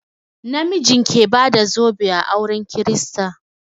Na mijin ke bada zobe a auren kirista.